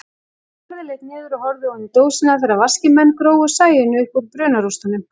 Barði leit niður og horfði oní dósina þegar vaskir menn grófu Sæunni uppúr brunarústunum.